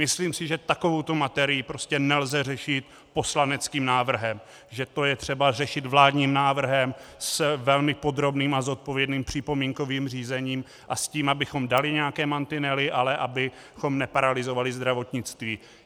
Myslím si, že takovouto materii prostě nelze řešit poslaneckým návrhem, že to je třeba řešit vládním návrhem s velmi podrobným a zodpovědným připomínkovým řízením a s tím, abychom dali nějaké mantinely, ale abychom neparalyzovali zdravotnictví.